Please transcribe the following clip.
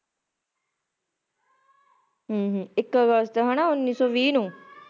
ਹਮ ਹਾਂ ਇੱਕ ਅਗਸਤ ਹੈ ਨਾ ਉੱਨੀ ਸੌ ਵੀਹ ਨੂੰ